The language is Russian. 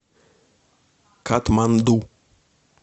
катманду